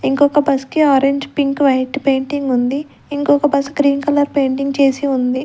ఇంకొక బస్ కి orange pink white painting ఉంది ఇంకొక బస్ గ్రీన్ కలర్ పెయింటింగ్ చేసి ఉంది.